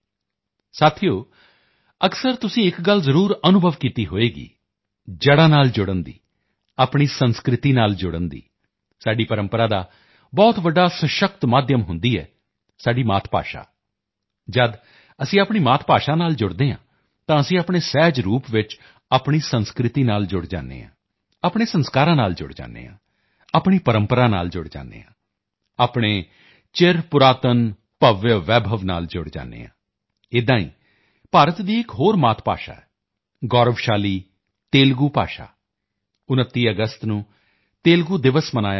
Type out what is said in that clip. ਸਾਥੀਓ ਅਕਸਰ ਤੁਸੀਂ ਇੱਕ ਗੱਲ ਜ਼ਰੂਰ ਅਨੁਭਵ ਕੀਤੀ ਹੋਵੇਗੀ ਜੜ੍ਹਾਂ ਨਾਲ ਜੁੜਨ ਦੀ ਆਪਣੀ ਸੰਸਕ੍ਰਿਤੀ ਨਾਲ ਜੁੜਨ ਦੀ ਸਾਡੀ ਪ੍ਰੰਪਰਾ ਦਾ ਬਹੁਤ ਵੱਡਾ ਸਸ਼ਕਤ ਮਾਧਿਅਮ ਹੁੰਦੀ ਹੈ ਸਾਡੀ ਮਾਤ ਭਾਸ਼ਾ ਜਦ ਅਸੀਂ ਆਪਣੀ ਮਾਤ ਭਾਸ਼ਾ ਨਾਲ ਜੁੜਦੇ ਹਾਂ ਤਾਂ ਅਸੀਂ ਸਹਿਜ ਰੂਪ ਵਿੱਚ ਆਪਣੀ ਸੰਸਕ੍ਰਿਤੀ ਨਾਲ ਜੁੜ ਜਾਂਦੇ ਹਾਂ ਆਪਣੇ ਸੰਸਕਾਰਾਂ ਨਾਲ ਜੁੜ ਜਾਂਦੇ ਹਾਂ ਆਪਣੀ ਪ੍ਰੰਪਰਾ ਨਾਲ ਜੁੜ ਜਾਂਦੇ ਹਾਂ ਆਪਣੇ ਚਿਰ ਪੁਰਾਤਨ ਭਵਯ ਵੈਭਵ ਨਾਲ ਜੁੜ ਜਾਂਦੇ ਹਾਂ ਏਦਾਂ ਹੀ ਭਾਰਤ ਦੀ ਇੱਕ ਹੋਰ ਮਾਤ ਭਾਸ਼ਾ ਹੈ ਗੌਰਵਸ਼ਾਲੀ ਤੇਲੁਗੂ ਭਾਸ਼ਾ 29 ਅਗਸਤ ਨੂੰ ਤੇਲੁਗੂ ਦਿਵਸ ਮਨਾਇਆ ਜਾਵੇਗਾ